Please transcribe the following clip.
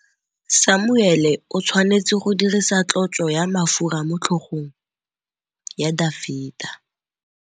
Samuele o tshwanetse go dirisa tlotsô ya mafura motlhôgong ya Dafita.